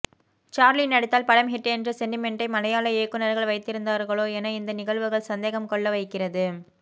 Charlie நடித்தால் படம் hit என்ற செண்டிமெண்ட்டை மலையாள இயக்குனர்கள் வைத்திருந்தார்களோ என இந்த நிகழ்வுகள் சந்தேகம் கொள்ள வைக்கிறது